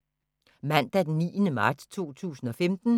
Mandag d. 9. marts 2015